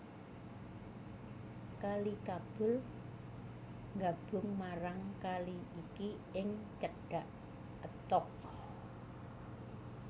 Kali Kabul nggabung marang kali iki ing cedhak Attock